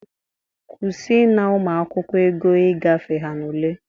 Kwusie ịna ụmụakwụkwọ ego i gafe ha n'ule!